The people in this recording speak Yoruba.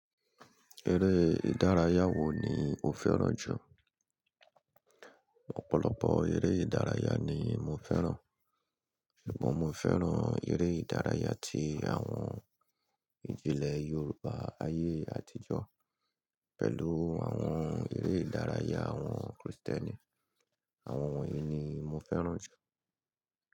Eré ìdárayá wo ni o fẹ́ràn jù? Ọ̀pọ̀lọpọ̀ eré ìdárayá ni mo fẹ́ràn, ṣùgbọ́n mo fẹ́ràn eré ìdárayá tí àwọn ìjílé Yorùbá ayé àtijọ́ pẹ̀lú àwọn eré ìdárayá àwọn Kristẹni. Àwọn òun yìí ni mo fẹ́ràn jù.